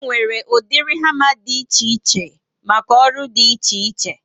E nwere ụdịrị hama dị ichè ichè maka ọrụ dị iche iche